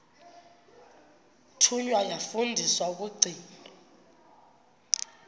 thunywa yafundiswa ukugcina